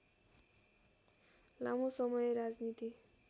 लामो समय राजनीति